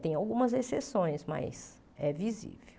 Tem algumas exceções, mas é visível.